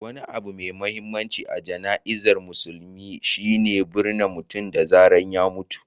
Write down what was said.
Wani abu mai mahimmanci a jana'izar musulunci shi ne binne mutum da wuri da zarar ya mutu.